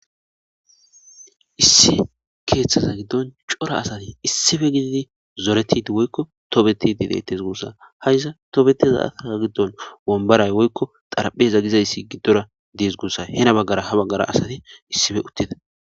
Issi keeththaza giddon cora asati issife gididi zoretidi woykko tobetidi deettes guussa ha iza tobeteza asaka giddon wombaray woykko xaraphe za gizayssi giddora dees guussa hena baggara ha baggara asati issife uttida.